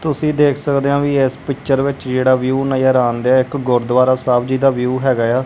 ਤੁਸੀਂ ਦੇਖ ਸਕਦੇ ਹੋ ਵੀ ਇਸ ਪਿਕਚਰ ਵਿੱਚ ਜਿਹੜਾ ਵਿਊ ਨਜ਼ਰ ਆਣ ਦਿਆ ਇੱਕ ਗੁਰਦੁਆਰਾ ਸਾਹਿਬ ਜੀ ਦਾ ਵਿਊ ਹੈਗਾ ਆ।